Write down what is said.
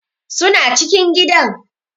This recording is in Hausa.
Suna cikin gidan.